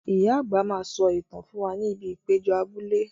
Ìyá àgbà máa sọ ìtàn fún wa ní ibi ìpéjọ abúlé